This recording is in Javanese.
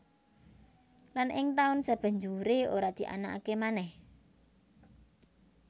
Lan ing taun sabanjuré ora dianakaké manèh